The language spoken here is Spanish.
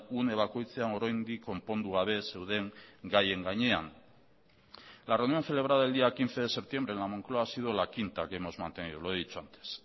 une bakoitzean oraindik konpondu gabe zeuden gaien gainean la reunión celebrada el día quince de septiembre en la moncloa ha sido la quinta que hemos mantenido lo he dicho antes